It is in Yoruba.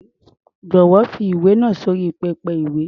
Jọ̀wọ́, fi ìwé náà sí orí pẹpẹ-ìwé.